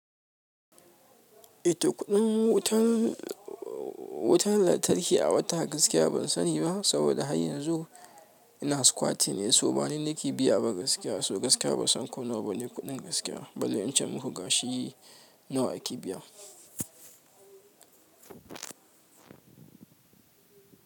Ita kuɗin wutar wutar lantarki a wata gaskiya ban sani ba saboda har yanzu ina squattin ne, so bani nake biya ba gaskiya. So gaskiya ban san ko nawa bane kuɗin gaskiya. Bale in ce muku gashi nawa ake biya.